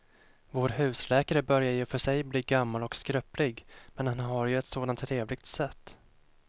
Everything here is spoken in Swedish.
Vår husläkare börjar i och för sig bli gammal och skröplig, men han har ju ett sådant trevligt sätt!